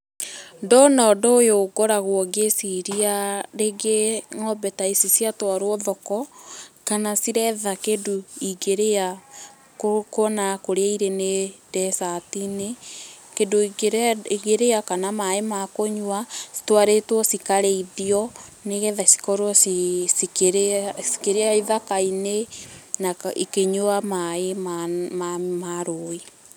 Ndona ũndũ ũyũ ngoragwo ngĩciria rĩngĩ ng'ombe ta ici ciatwarwo thoko, kana ciretha kĩndũ ingĩrĩa kuona kũrĩa irĩ nĩ desert inĩ, kĩndũ ingĩrĩa kana maĩ ma kũnyua, citwarĩtwo cikarĩithio, nĩgetha cikorwo cikĩrĩa, cikĩrĩa ithaka-inĩ na ikĩnyua maĩ ma rũĩ.